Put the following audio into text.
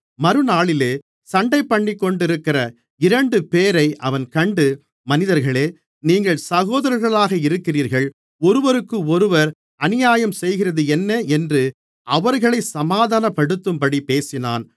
மறுநாளிலே சண்டைபண்ணிக்கொண்டிருக்கிற இரண்டுபேரை அவன் கண்டு மனிதர்களே நீங்கள் சகோதரர்களாக இருக்கிறீர்கள் ஒருவருக்கொருவர் அநியாயம் செய்கிறது என்ன என்று அவர்களைச் சமாதானப்படுத்தும்படி பேசினான்